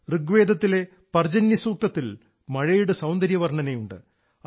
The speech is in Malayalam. ഋഗ്വേദത്തിലെ പർജന്യ സൂക്തത്തിൽ മഴയുടെ സൌന്ദര്യ വർണ്ണനയുണ്ട്